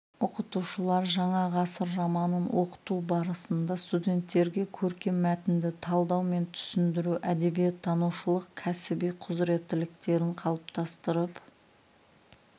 оқытушылар жаңа ғасыр романын оқыту барасында студенттерге көркем мәтінді талдау мен түсіндіру әдебиеттанушылық кәсіби құзыреттіліктерін қалыптастырып